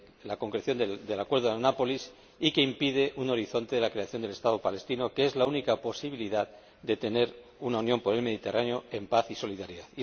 la concreción del acuerdo de Annapolis y que impide un horizonte de la creación del Estado palestino, que es la única posibilidad de tener una Unión para el Mediterráneo en paz y solidaridad.